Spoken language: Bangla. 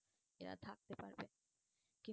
এরা থাকতে পারবে।